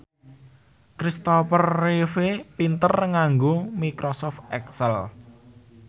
Kristopher Reeve pinter nganggo microsoft excel